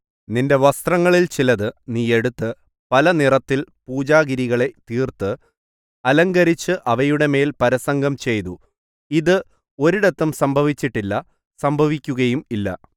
നിന്റെ വസ്ത്രങ്ങളിൽ ചിലതു നീ എടുത്ത് പല നിറത്തിൽ പൂജാഗിരികളെ തീർത്ത് അലങ്കരിച്ച് അവയുടെമേൽ പരസംഗം ചെയ്തു ഇത് ഒരിടത്തും സംഭവിച്ചിട്ടില്ല സംഭവിക്കുകയും ഇല്ല